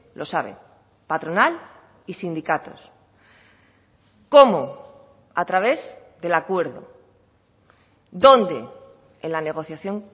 lo sabe patronal y sindicatos cómo a través del acuerdo dónde en la negociación